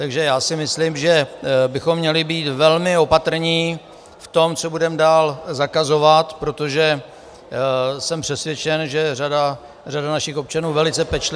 Takže já si myslím, že bychom měli být velmi opatrní v tom, co budeme dál zakazovat, protože jsem přesvědčen, že řada našich občanů velice pečlivě -